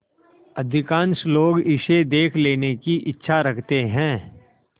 अधिकांश लोग इसे देख लेने की इच्छा रखते हैं